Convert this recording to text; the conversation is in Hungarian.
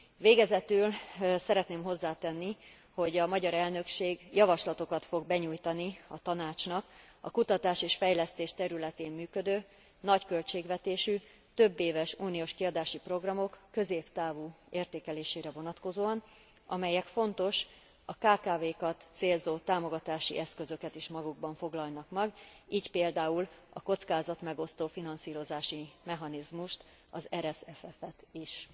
Végezetül szeretném hozzátenni, hogy a magyar elnökség javaslatokat fog benyújtani a Tanácsnak a kutatás és fejlesztés területén működő nagy költségvetésű, többéves uniós kiadási programok középtávú értékelésére vonatkozóan, amelyek fontos, a kkv kat célzó támogatási eszközöket is magukban foglalnak majd, így például a kockázatmegosztó finanszírozási mechanizmust, az RSFF et is.